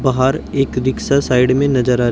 बाहर एक rickshaw side में नजर आ रही--